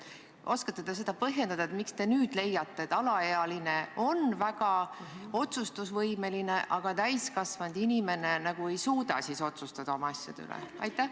Kas te oskate põhjendada, miks te leiate, et alaealine on väga otsustusvõimeline, aga täiskasvanud inimene ei suuda oma asjade üle otsustada?